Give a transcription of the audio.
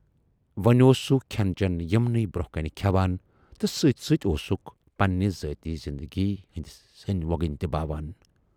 وۅنۍ اوس سُہ کھٮ۪ن چٮ۪ن یِمنٕے برونہہ کنہِ کھٮ۪وان تہٕ سۭتۍ سۭتۍ اوسُکھ پننہِ ذٲتی زِندگی ہٕندۍ سٔنۍ وۅگٕنۍ تہِ باوان۔